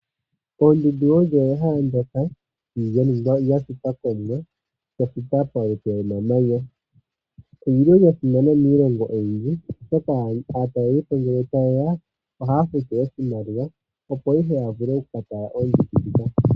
Oondundu olyo ehala ndyoka lyashitwa polupe lwomamanya. Odhasimana miilongo oyindji oshoka aataleli ohaya futu iimaliwa opo yaka tale oondundu.